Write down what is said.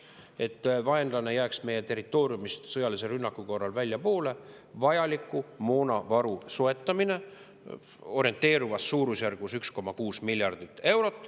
Selleks et vaenlane jääks sõjalise rünnaku korral meie territooriumist väljapoole, tuleb soetada vajalik moonavaru suurusjärgus 1,6 miljardit eurot.